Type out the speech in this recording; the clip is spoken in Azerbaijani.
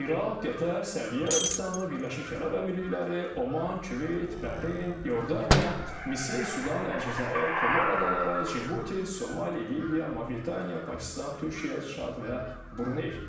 İraq, Qətər, Səudiyyə Ərəbistanı, Birləşmiş Ərəb Əmirlikləri, Oman, Küveyt, Bəhreyn, İordaniya, Misir, Sudan, Əlcəzair, Komor Adaları, Cibuti, Somali, Liviya, Mavritaniya, Pakistan, Türkiyə, Çad və Bruney.